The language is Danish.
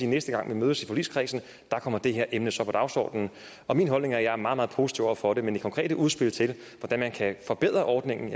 næste gang vi mødes i forligskredsen kommer det her emne så på dagsordenen min holdning er at jeg er meget meget positiv over for det men det konkrete udspil til hvordan man kan forbedre ordningen